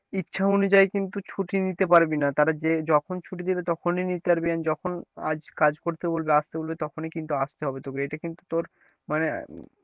ইচ্ছা অনুযায়ী কিন্তু ছুটি নিতে পারবি না তারা যে যখন ছুটি দেবে তখনই নিতে পারবি, যখনই কাজ কাজ করতে বলবে আসতে বলবে তখনই কিন্তু আসতে হবে তোকে এটা কিন্তু তোর মানে,